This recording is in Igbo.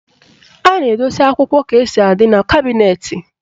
A na-edosi akwụkwọ etu o si adị n'kabịnetị.